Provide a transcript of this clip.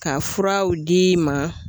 Ka furaw d'i ma